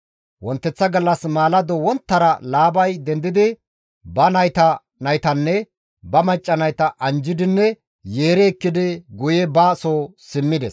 Wonteththa gallas maalado wonttara Laabay dendidi ba nayta naytanne ba macca nayta anjjidinne yeeri ekkidi guye ba soo simmides.